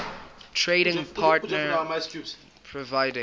trading partner providing